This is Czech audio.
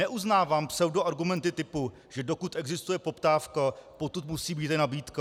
Neuznávám pseudoargumenty typu, že dokud existuje poptávka, potud musí být i nabídka.